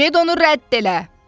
Get onu rədd elə!